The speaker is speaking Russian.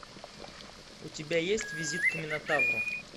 у тебя есть визит к минотавру